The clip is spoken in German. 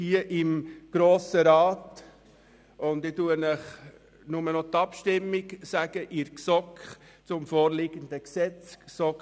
Daher teile ich Ihnen nur noch das Abstimmungsergebnis in der GSoK zum vorliegenden Gesetz mit.